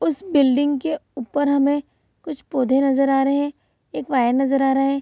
उस बिल्डिंग के ऊपर हमें कुछ पौधे नज़र आ रहे हैं। एक वायर नज़र आ रहा है।